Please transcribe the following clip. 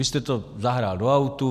Vy jste to zahrál do autu.